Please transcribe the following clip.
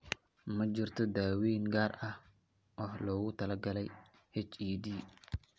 Ma jirto daaweyn gaar ah oo loogu talagalay HED.